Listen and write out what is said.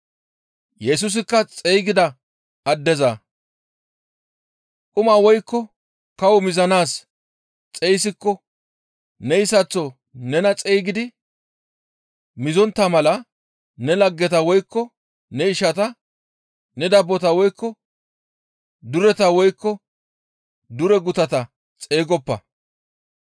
Yesusikka xeygida addeza, «Quma woykko kawo mizanaas xeyssiko neyssaththo nena xeyssidi mizontta mala ne laggeta woykko ne ishata, ne dabbota woykko dureta woykko dure gutata xeygoppa.